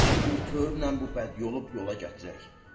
Bəlkə bir tövlə bu bəd yolu yola gətirək.